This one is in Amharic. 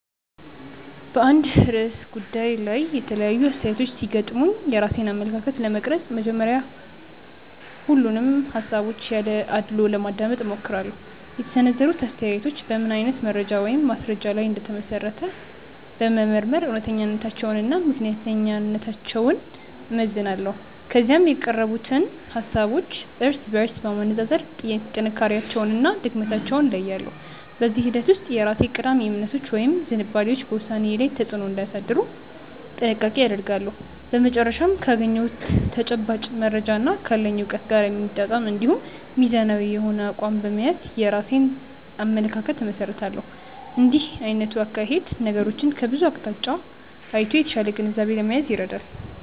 በአንድ ርዕሰ ጉዳይ ላይ የተለያዩ አስተያየቶች ሲገጥሙኝ የራሴን አመለካከት ለመቅረጽ መጀመሪያ ሁሉንም ሃሳቦች ያለ አድልዎ ለማዳመጥ እሞክራለሁ። የተሰነዘሩት አስተያየቶች በምን አይነት መረጃ ወይም ማስረጃ ላይ እንደተመሰረቱ በመመርመር እውነተኛነታቸውንና ምክንያታዊነታቸውን እመዝናለሁ። ከዚያም የቀረቡትን ሃሳቦች እርስ በርስ በማነጻጸር ጥንካሬያቸውንና ድክመታቸውን እለያለሁ። በዚህ ሂደት ውስጥ የራሴ ቀዳሚ እምነቶች ወይም ዝንባሌዎች በውሳኔዬ ላይ ተጽዕኖ እንዳያሳድሩ ጥንቃቄ አደርጋለሁ። በመጨረሻም ካገኘሁት ተጨባጭ መረጃና ካለኝ እውቀት ጋር የሚጣጣም እንዲሁም ሚዛናዊ የሆነ አቋም በመያዝ የራሴን አመለካከት እመሰርታለሁ። እንዲህ አይነቱ አካሄድ ነገሮችን ከብዙ አቅጣጫ አይቶ የተሻለ ግንዛቤ ለመያዝ ይረዳል።